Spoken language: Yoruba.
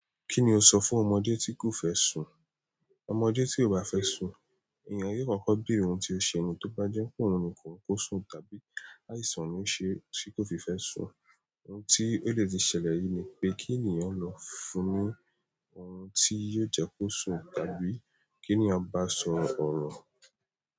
Kí ni o sọ fún ọmọdé tí kò fẹ́ sùn? Ọmọdé tí ò bá fẹ́ sùn, èèyàn yóò kọ́kọ́ béèrè ohun tí ó ṣe ni tó bá jẹ́ pé òun ni kò hun kó sùn tàbí àìsàn ni ó ṣe ti kó fi fẹ́ sùn. Ohun tí ó dè ti ṣẹlẹ̀ ri ni pé kí ènìyàn lọ fún un ní ọhùn tí yóò jẹ́ kó sùn tàbí kí ènìyàn bá a sọ ọ̀rọ̀.